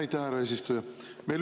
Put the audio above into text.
Aitäh, härra eesistuja!